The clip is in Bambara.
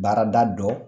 Baarada dɔ